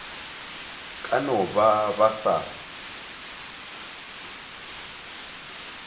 ka no ba ba sa